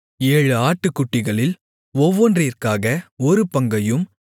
ஏழு ஆட்டுக்குட்டிகளில் ஒவ்வொன்றிற்காக ஒரு பங்கையும்